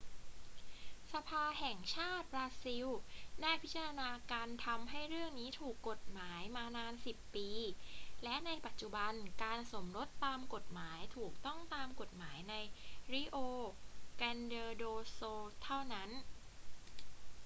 สภาแห่งชาติบราซิลได้พิจารณาการทำให้เรื่องนี้ถูกกฎหมายมานาน 10 ปี และในปัจจุบันการสมรสตามกฎหมายถูกต้องตามกฎหมายใน rio grande do sul เท่านั้น